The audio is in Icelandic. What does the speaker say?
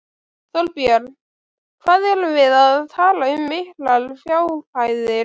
Þorbjörn: Hvað erum við að tala um miklar fjárhæðir?